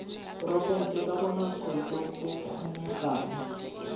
porofense ka bonako jo bokgonegang